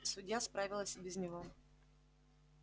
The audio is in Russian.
судья справилась и без него